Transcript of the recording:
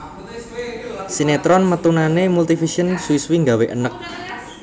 Sinetron metunane Multivision suwi suwi nggawe eneg